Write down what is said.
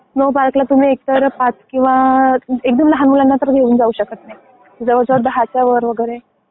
Snow पार्कला तुम्ही एक तर पाच किंवा एकदम लहान मुलांना तर घेऊन जाऊ शकत नाही. जवळजवळ दहाच्या वर वगैरे आहे.